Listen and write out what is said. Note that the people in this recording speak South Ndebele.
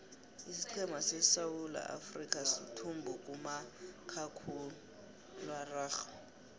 isiqhema seswulaafrikha suthumbo kumakhakhuiwa araxhwe